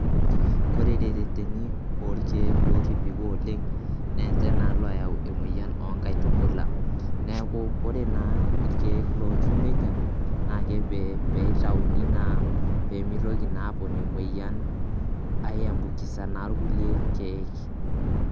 Kore te reteni orkeek lotibiko oleng' naa nje naa layau emoyian o nkaitubula. Neeku kore naa irkeek lotiu neija naake pee itauni naa pee mitoki naa apon emoyian aiambukiza naa irkulie keek.